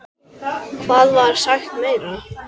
Hvað var sagt meira?